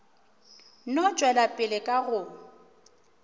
no tšwela pele ka go